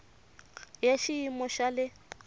i ya xiyimo xa le